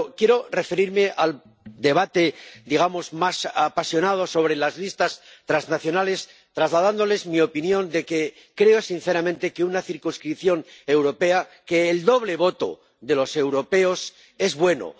Pero quiero referirme al debate —digamos— más apasionado sobre las listas transnacionales trasladándoles mi opinión de que creo sinceramente que una circunscripción europea, que el doble voto de los europeos es bueno.